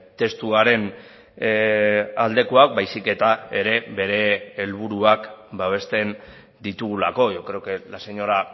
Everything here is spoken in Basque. testuaren aldekoak baizik eta ere bere helburuak babesten ditugulako yo creo que la señora